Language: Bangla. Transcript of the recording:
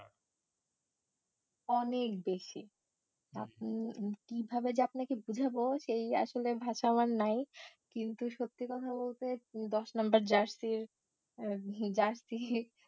অনেক বেশি আপনা~ কি ভাবে যে আপনাকে বোঝাবো সেই আসলে ভাষা আমার নাই, কিন্তু সত্যি কথা বলতে দশ নম্বর jersey র আহ jersey